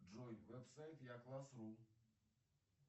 джой веб сайт я класс ру